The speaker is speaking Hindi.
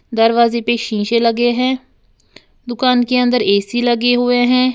दरवाजे पे शीशे लगे हैं। दुकान के अंदर ऐ_सी लगे हुए हैं।